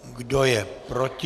Kdo je proti?